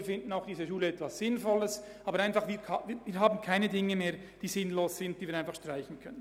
Wir finden diese Schule sinnvoll, aber es gibt nichts Sinnloses mehr, das wir einfach so streichen können.